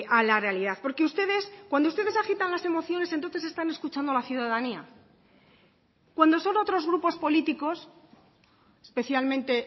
a la realidad porque ustedes cuando ustedes agitan las emociones entonces están escuchando a la ciudadanía cuando son otros grupos políticos especialmente